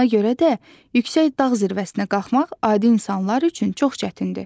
Ona görə də yüksək dağ zirvəsinə qalxmaq adi insanlar üçün çox çətindir.